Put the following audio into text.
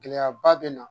Gɛlɛyaba bɛ na